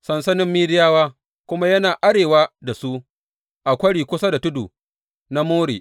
Sansanin Midiyawa kuma yana arewa da su a kwari kusa da tudu na More.